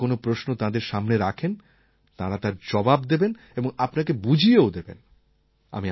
আর যদি আপনি কোনও প্রশ্ন তাঁদের সামনে রাখেন তাঁরা তার জবাব দেবেন এবং আপনাকে বুঝিয়েও দেবেন